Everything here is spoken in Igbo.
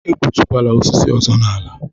E gbutukwala osisi ọzọ n'ala a!